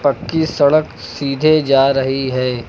की सड़क सीधे जा रही है।